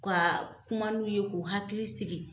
Ka kuma n'u ye k'u hakili sigi